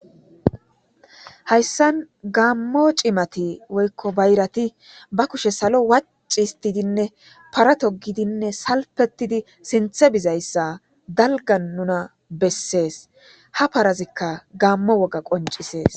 Haysan gaamo cimati woyko bayrati be kushe salo waci histidinne para togidinne salpetidi sinthe bizaysa dalgan nuna beses, ha parazika gaamo woga qoncises.